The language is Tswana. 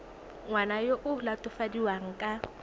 ngwana yo o latofadiwang ka